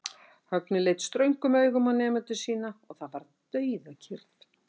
Högni leit ströngum augum á nemendur sína og það varð dauðakyrrð.